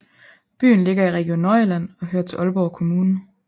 Byen ligger i Region Nordjylland og hører til Aalborg Kommune